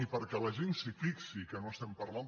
i perquè la gent s’hi fixi que no es·tem parlant